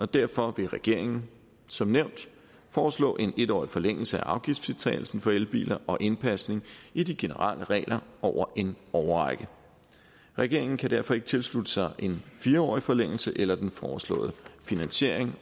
derfor vil regeringen som nævnt foreslå en en årig forlængelse af afgiftsfritagelsen for elbiler og indpasning i de generelle regler over en årrække regeringen kan derfor ikke tilslutte sig en fire årig forlængelse eller den foreslåede finansiering